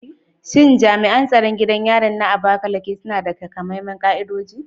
Shin jami’an tsaron gidan yarin na Abakaliki suna da takamaiman ka’idoji?